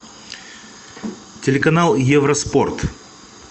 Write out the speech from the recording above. телеканал евроспорт